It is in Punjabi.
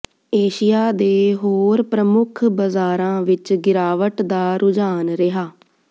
ਏਸ਼ੀਆ ਦੇ ਹੋਰ ਪ੍ਰਮੁੱਖ ਬਾਜ਼ਾਰਾਂ ਵਿਚ ਗਿਰਾਵਟ ਦਾ ਰੁਝਾਨ ਰਿਹਾ